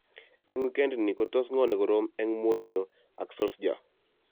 Eng wikend ini kotos ng'o ne korom eng Mourinho ak Solskjaer?